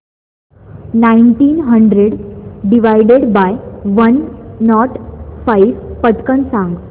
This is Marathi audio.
nineteen hundred divided by one not five पटकन सांग